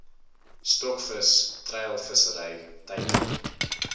stokvis treilvissery teiken